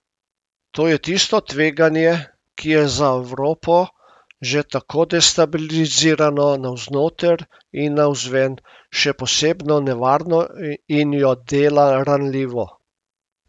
To je tisto tveganje, ki je za Evropo, že tako destabilizirano navznoter in navzven, še posebno nevarno in jo dela ranljivo.